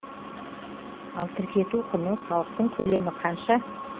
ал тіркету құны салықтың көлемі қанша